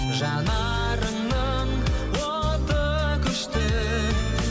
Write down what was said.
жанарыңның оты күшті